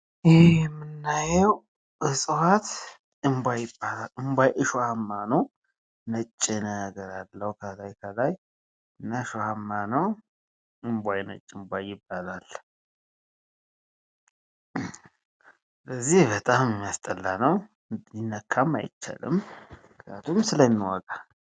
ይኽ የምናየው እፀዋት እምቧይ ይባላል። እምቧይ እሾሀማ ነው። ነጭ ነገር አለው ከላይ ከላይ እና እሾሀማ ነው። እምቧይ ነጭ እምቧይ ይባላል። ስለዚህ በጣም የሚያስጠላ ነው ሊነካም አይቻልም ምክንያቱም ስለሚወጋ